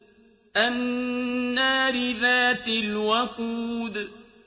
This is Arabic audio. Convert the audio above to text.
النَّارِ ذَاتِ الْوَقُودِ